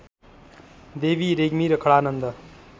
देवी रेग्मी र खडानन्द